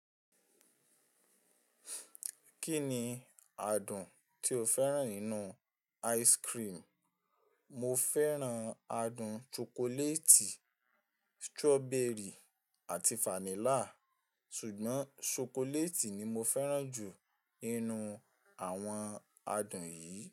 Kí ni adùn tí o fẹ́ràn nínú ice cream? Mo fẹ́ràn adùn shokoleti, strawberry àti fanilla. Ṣùgbọ́n shokoleti ni mo fẹ́ràn jù nínú àwọn adùn yìí.